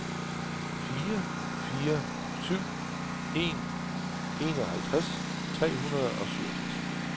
fire fire syv en enoghalvtreds tre hundrede og syvogtres